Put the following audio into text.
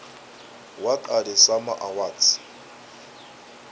what are the sama awards